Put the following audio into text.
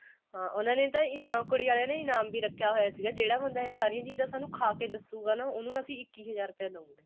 ਹਾਂ ਉਹਨਾ ਨੇ ਤਾਂ ਕੁੜੀ ਆਲਿਆਂ ਨੇ ਤਾ ਇਨਾਮ ਵੀ ਰੱਖਿਆ ਹੋਇਆ ਸੀਗਾ ਜਿਹੜਾ ਬੰਦਾ ਸਾਰੀਆਂ ਚੀਜ਼ਾਂ ਸਾਨੂੰ ਖਾ ਕੇ ਦੱਸੂਗਾ ਉਹਨੂੰ ਅਸੀਂ ਇੱਕੀ ਹਜ਼ਾਰ ਰੁਪਏ ਦਵਾਂਗੇ